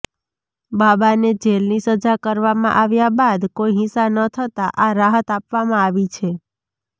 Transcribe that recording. બાબાને જેલની સજા કરવામાં આવ્યા બાદ કોઇ હિંસા ન થતાં આ રાહત આપવામાં આવી છે